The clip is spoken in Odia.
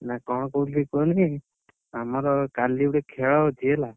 ନା କଣ କହୁଥିଲି କୁହନି, ଆମର କାଲି ଗୋଟେ ଖେଳ ଅଛି ହେଲା।